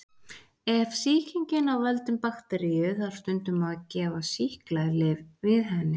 Ef sýkingin er af völdum bakteríu þarf stundum að gefa sýklalyf við henni.